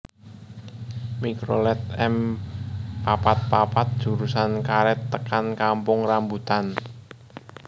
Mikrolet M papat papat Jurusan Karet tekan Kampung Rambutan